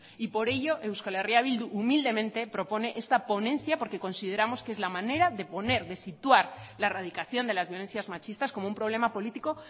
y por ello euskal herria bildu humildemente propone esta ponencia porque consideramos que es la manera de poner de situar la erradicación de las violencias machistas como un problema político